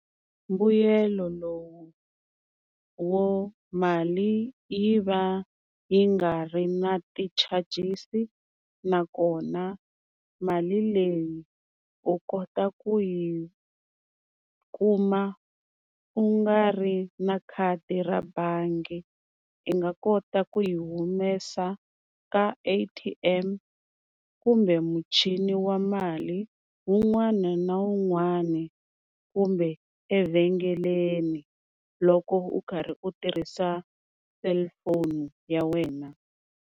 Mbuyelo lowu wo mali yi va yi nga ri na ti-charges-i, nakona mali leyi u kota ku yi kuma u nga ri na khadi ra bangi. I nga kota ku yi humesa ka A_T_M kumbe muchini wa mali wun'wana na wun'wana kumbe evhengeleni loko u karhi u tirhisa cellphone ya wena.